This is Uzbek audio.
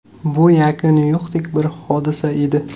Bu yakuni yo‘qdek bir hodisa edi.